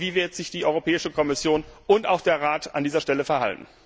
Wie werden sich die Europäische Kommission und auch der Rat an dieser Stelle verhalten?